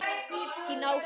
Þín, Áslaug.